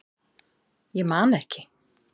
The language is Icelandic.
Ég man ekki